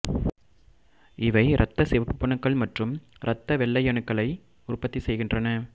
இவை இரத்த சிவப்பணுக்கள் மற்றும் இரத்த வெள்ளையணுக்களை உற்பத்தி செய்கின்றன